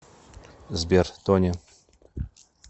сбер тони